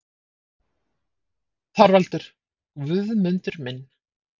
ÞORVALDUR: Guðmundur minn!